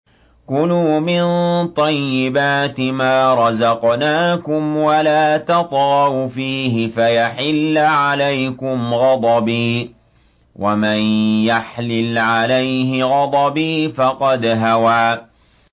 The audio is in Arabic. كُلُوا مِن طَيِّبَاتِ مَا رَزَقْنَاكُمْ وَلَا تَطْغَوْا فِيهِ فَيَحِلَّ عَلَيْكُمْ غَضَبِي ۖ وَمَن يَحْلِلْ عَلَيْهِ غَضَبِي فَقَدْ هَوَىٰ